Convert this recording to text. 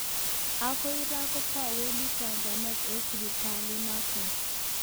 Okoi ra kotowendi chajanet eng sipitalit noton.